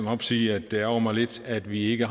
op sige at det ærgrer mig lidt at vi ikke